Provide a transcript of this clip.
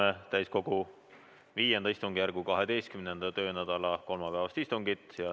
Alustame täiskogu V istungjärgu 12. töönädala kolmapäevast istungit.